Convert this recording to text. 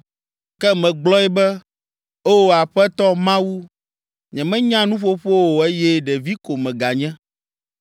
Ke megblɔ be, “O, Aƒetɔ Mawu, nyemenya nuƒoƒo o eye ɖevi ko meganye.”